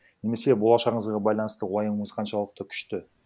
немесе болашағыңызға байланысты уайымыңыз қаншалықты күшті